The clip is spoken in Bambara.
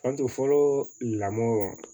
Fantan fɔlɔ lamɔɔ